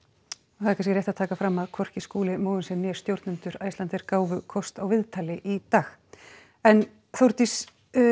það er kannski rétt að taka fram að hvorki Skúli Mogensen né stjórnendur Icelandair gáfu kost á viðtali í dag en Þórdís